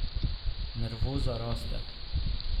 Nervoza raste.